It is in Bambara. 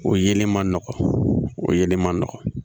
O yelen man nɔgɔn o yelen man nɔgɔn